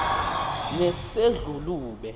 nesedlulube